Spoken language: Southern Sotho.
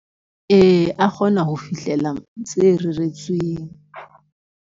Ee, a kgona ho fihlela tse reretsweng.